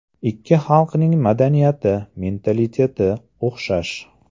Ikki xalqning madaniyati, mentaliteti o‘xshash.